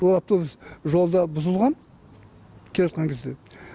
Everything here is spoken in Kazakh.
ол автобус жолда бұзылған келе жатқан кезде